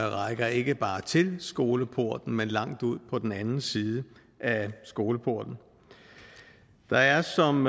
rækker ikke bare til skoleporten men langt ud på den anden side af skoleporten der er som